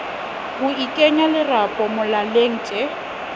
ho ikenya lerapo molaleng tjee